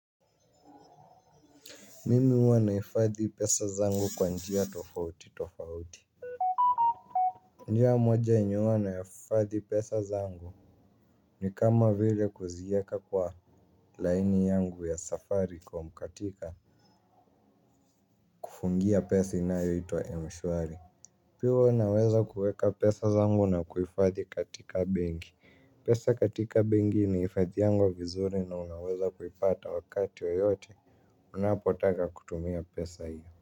Mimi huwa nahifadhi pesa zangu kwa njia tofauti tofauti. Njia moja yenye huwanaifadhi pesa zangu ni kama vile kuzieka kwa laini yangu ya safaricom katika kufungia pesa inayoitwa mshwari. Pia huwa naweza kueka pesa zangu na kuifadhi katika bengi pesa katiaka bengi inaifadiwanga vizuri na unaweza kupata wakati yoyote unapotaka kutumia pesa ile.